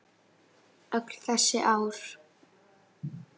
Öll þessi ár?